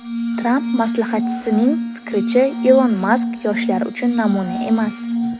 Tramp maslahatchisining fikricha Ilon Mask yoshlar uchun namuna emas.